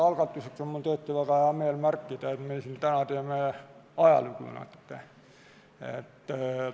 Alustuseks on mul tõesti väga hea meel märkida, et me siin täna teeme natuke ajalugu.